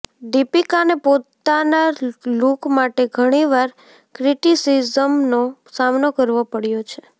દીપિકાને પોતાના લૂક માટે ઘણી વાર ક્રિટિસિઝમનો સામનો કરવો પડ્યો છે